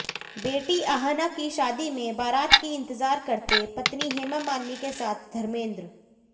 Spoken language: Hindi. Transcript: बेटी अहाना की शादी में बरात की इंतजार करते पत्नी हेमा मालिनी के साथ धर्मेंद्र